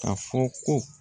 A fɔ ko